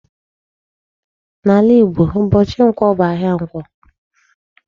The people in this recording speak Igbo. N'ala Igbo ụbọchị Nkwọ bụ ahịa Ǹkwọ.